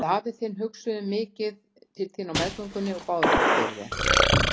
Við afi þinn hugsuðum mikið til þín á meðgöngunni og báðum oft fyrir þér.